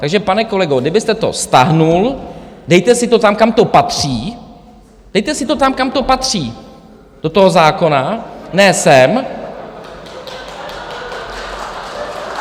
Takže pane kolego, kdybyste to stáhl, dejte si to tam, kam to patří, dejte si to tam, kam to patří, do toho zákona, ne sem.